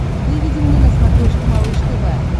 выведи мне на смотрешке малыш тв